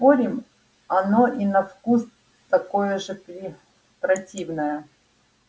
спорим оно и на вкус такое же при противное